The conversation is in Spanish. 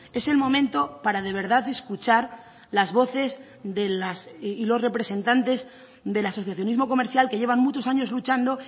es el momento para de verdad escuchar las voces de las y los representantes del asociacionismo comercial que llevan muchos años luchando